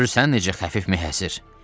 Görürsən necə xəfif meh əsir?